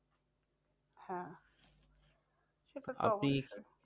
হ্যাঁ সেটা তো অবশ্যই।